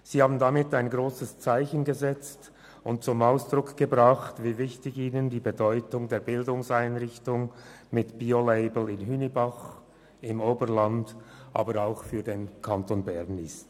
Sie haben damit ein grosses Zeichen gesetzt und zum Ausdruck gebracht, wie bedeutend diese Einrichtung mit Bio-Label in Hünibach für das Oberland, aber auch für den Kanton Bern ist.